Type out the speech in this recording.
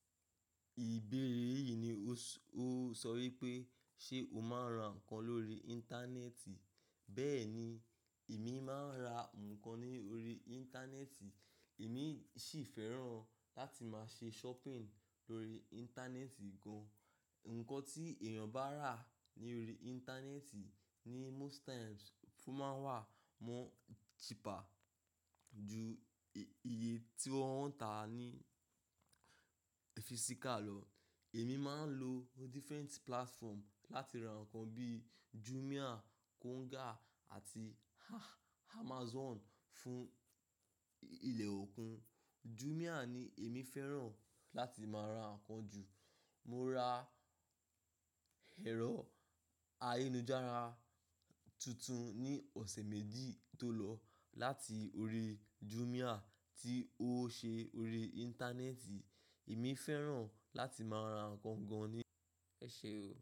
Ìbéèrè yìí ni ó sọ wípé ṣe o máa ń ra nǹkan lórí Íńtánẹ́ẹ̀tì? Bẹ́ẹ̀ ni, èmi máa ń ra nǹkan ní ori Íńtánẹ́ẹ̀tì, èmi sì fẹ́ràn láti máa ṣe shopping lórí Íńtánẹ́ẹ̀tì gan. Ǹkan tí èèyàn bá rà ní ori Íńtánẹ́ẹ̀tì ní most times ó máa ń wà mó cheaper ju iye tí wọ́n ń tà ní physical lọ. Èmi máa ń lo different platform láti ra nǹkan bíi Jumia, Konga àti Amazon fún ilẹ̀ òkun. Jumia ni èmi fẹ́ràn láti máa ra nǹkan jù. Mo ra ẹ̀rọ ayélujára tuntun ní ọ̀sẹ̀ méjì tó lọ láti orí Jumia tí ó ṣe ori Íńtánẹ́ẹ̀tì. Èmi fẹ́ràn láti máa ra nǹkan gan ni. Ṣé o?